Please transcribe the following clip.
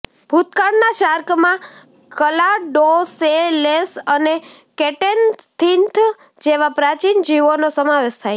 ભૂતકાળના શાર્કમાં ક્લાડોસેલેશ અને કેટેનથીન્થ જેવા પ્રાચીન જીવોનો સમાવેશ થાય છે